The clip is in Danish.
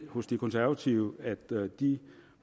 hos de konservative ved at de